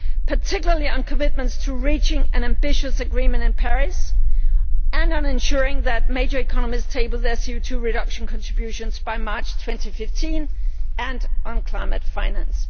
particularly on commitments to reach an ambitious agreement in Paris, on ensuring that major economies table their CO 2 reduction contributions by March 2015, and on climate finance.